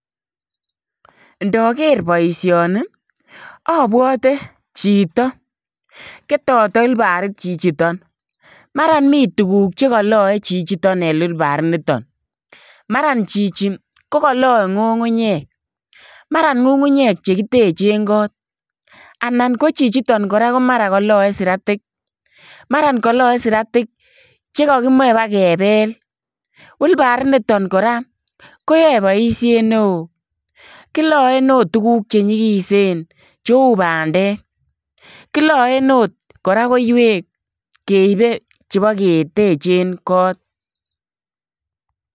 Ndaker boisioni ii abwate chitoo ketate ulbariit chichitoon mara mii tuguuk che ka law chichitoon en ulbariit nitoon mara chichi ko ka law ngungunyeek mara ngungunyeek che tenjeen koot anan ko chichitoon kora ko mara ko ka law siratik mara kalae siratiik chekakimachei ibakebel ulbariit nitoon kora koyae boisiet ne wooh kilaen agoot tuguuk che nyigisen che uu pandeek kilaen akoot koiweek keibe che bo ketecheen koot .